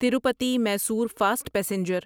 Tirupati Mysore fast passenger